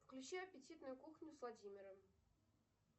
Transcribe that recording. включи аппетитную кухню с владимиром